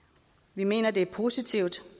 vi mener det er positivt